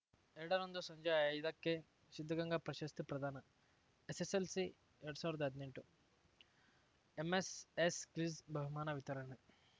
ಎರಡ ರಂದು ಸಂಜೆ ಐದಕ್ಕೆ ಸಿದ್ಧಗಂಗಾ ಪ್ರಶಸ್ತಿ ಪ್ರದಾನ ಎಸ್ಸೆಸ್ಸೆಲ್ಸಿಎರಡ್ ಸಾವಿರ್ದಾ ಹದ್ನೆಂಟು ಎಂಎಸ್‌ಎಸ್‌ ಕ್ವಿಜ್‌ ಬಹುಮಾನ ವಿತರಣೆ